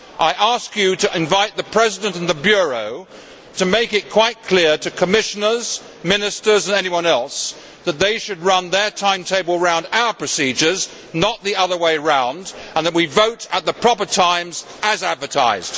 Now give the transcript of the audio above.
I ask you to invite the President and the Bureau to make it quite clear to Commissioners, Ministers and anyone else, that they should run their timetable round our procedures, not the other way round, and that we vote at the proper times as advertised.